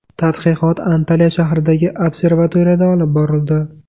Tadqiqot Antalya shahridagi observatoriyada olib borildi.